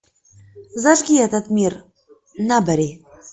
зажги этот мир набери